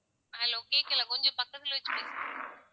hello கேட்கல கொஞ்சம் பக்கத்துல கொஞ்சம் பக்கத்துல வெச்சு பேசுங்க